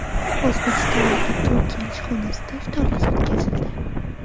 O‘zbekistondagi Turkiya elchixonasida iftorlik o‘tkazildi.